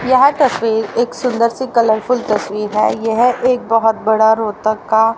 यहां तस्वीर एक सुंदर सी कलरफुल तस्वीर है ये है एक बहुत बड़ा रोहतक का--